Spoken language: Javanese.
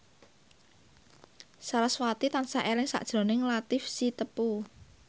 sarasvati tansah eling sakjroning Latief Sitepu